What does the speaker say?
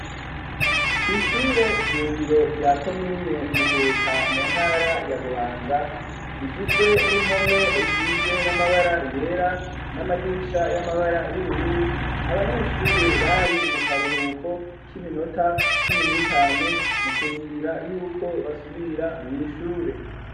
Kwishure shingiro rya komine Muhuta mu ntara ya Bubanza rigizwe n'impome risizwe n'amabara yera n'amadirisha y'amabara y'ubururu . Abanyeshure bari mu karuhuko k'iminota cumi n'itanu mu kurindira yuko basubira kwishure.